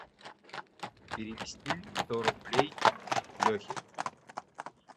перевести сто рублей лехе